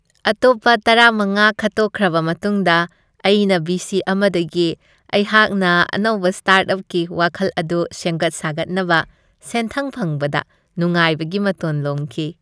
ꯑꯇꯣꯞꯄ ꯇꯔꯥꯃꯉꯥ ꯈꯠꯇꯣꯛꯈ꯭ꯔꯕ ꯃꯇꯨꯡꯗ ꯑꯩꯅ ꯚꯤ ꯁꯤ ꯑꯃꯗꯒꯤ ꯑꯩꯍꯥꯛꯅ ꯑꯅꯧꯕ ꯁ꯭ꯇꯥꯔꯠꯑꯞꯀꯤ ꯋꯥꯈꯜ ꯑꯗꯨ ꯁꯦꯝꯒꯠ ꯁꯥꯒꯠꯅꯕ ꯁꯦꯟꯊꯪ ꯐꯪꯕꯗ ꯅꯨꯡꯉꯥꯢꯕꯒꯤ ꯃꯇꯣꯟ ꯂꯣꯝꯈꯤ꯫